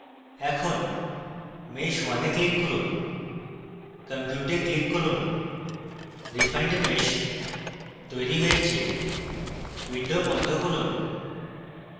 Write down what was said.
এখন mesh _ 1 এ click করুন compute এ click করুন refined mesh তৈরী হয়েছে window বন্ধ করুন